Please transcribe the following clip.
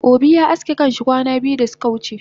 Obi ya aske kanshi kwana biyu dasuka wuce